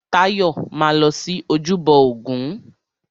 Táyọ̀ máa lọ sí ojúbọ ògún.